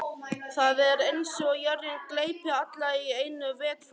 Það er eins og jörðin gleypi alla í einu vetfangi.